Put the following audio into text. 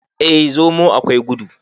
eh! zomo akwai gudu